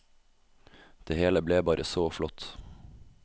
Det hele ble bare så flott.